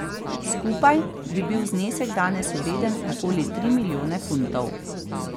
Skupaj bi bil znesek danes vreden okoli tri milijone funtov.